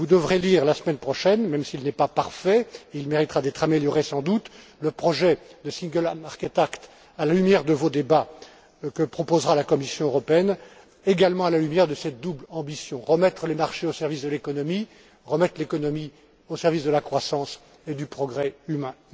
Vous devrez lire la semaine prochaine même s'il n'est pas parfait, il méritera d'être amélioré sans doute le projet de single market act à la lumière de vos débats que proposera la Commission européenne, également à la lumière de cette double ambition remettre les marchés au service de l'économie et remettre l'économie au service de la croissance et du progrès humain.